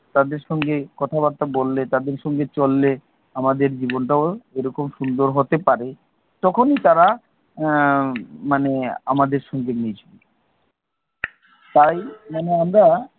তাদের সঙ্গে কথা বার্তা বললে তাদের সাথে চললে আমাদের জীবন হটাও এরকম সুন্দর হতে পারে তখনই তারা, এর মানে আমাদের সঙ্গে নিয়ে চলবে। তাই মানে আমরা